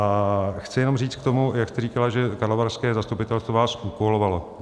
A chci jenom říct k tomu, jak jste říkala, že karlovarské zastupitelstvo vás úkolovalo.